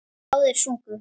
Báðir sungu.